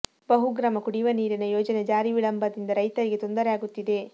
ಬಹುಗ್ರಾಮ ಕುಡಿಯುವ ನೀರಿನ ಯೋಜನೆ ಜಾರಿ ವಿಳಂಬದಿಂದ ರೈತರಿಗೆ ತೊಂದರೆ ಆಗುತ್ತಿದೆ